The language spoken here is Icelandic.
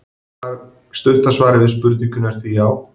Stutta svarið við spurningunni er því já!